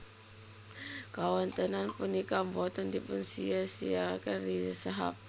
Kawontenan punika boten dipunsiya siyakaken Riza Shahab